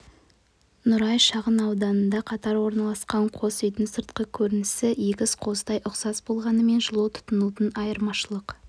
нұрай шағын ауданында қатар орналасқан қос үйдің сыртқы көрінісі егіз қозыдай ұқсас болғанымен жылу тұтынуында айырмашылық